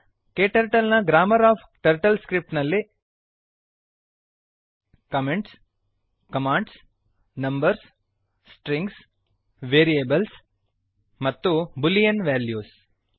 KTurtle ನ grammar of TurtleScript ನಲ್ಲಿ comments comments commands commands numbers numbers strings strings variables variables ಮತ್ತು boolean values boolean values ಇರುತ್ತವೆ